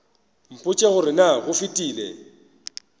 mpotše gore na go fetile